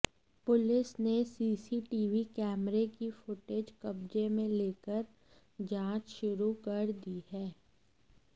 police ने CCTV कैमरे की फुटेज कब्जे में लेकर जांच शुरू कर दी है